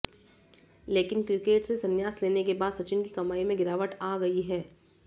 लेकिन क्रिकेट से सन्यास लेने के बाद सचिन की कमाई में गिरावट आ गयी है